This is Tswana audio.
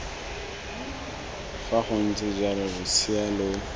fa gontse jalo losea lo